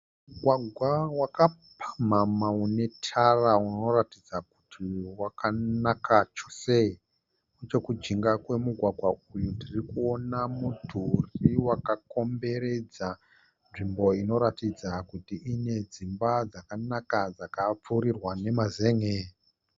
Mugwagwa wakapamhamha une tara unoratidza kuti wakanaka chose. Nechokujinga kwemugwagwa umu ndirikuona mudhuri wakakomberedza nzvimbo inoratidza kuti ine dzimba zvakanaka dzakapfurirwa nemazenge.